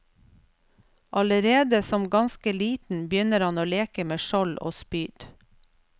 Allerede som ganske liten begynner han å leke med skjold og spyd.